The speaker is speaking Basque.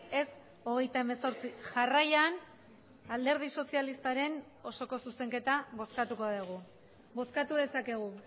ez hogeita hemezortzi jarraian alderdi sozialistaren osoko zuzenketa bozkatuko dugu bozkatu dezakegu